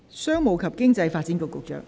商務及經濟發展局局長，請發言。